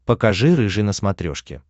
покажи рыжий на смотрешке